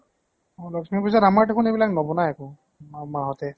লক্ষী পুজা ত আমাৰ দেখোন এইবিলাক নবনাই একো, মা হঁতে ।